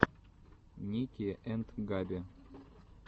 ники энд габи